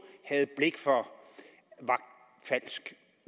havde blik for var falsk